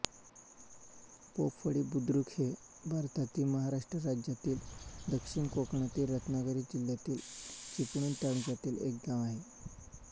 पोफळी बुद्रुक हे भारतातील महाराष्ट्र राज्यातील दक्षिण कोकणातील रत्नागिरी जिल्ह्यातील चिपळूण तालुक्यातील एक गाव आहे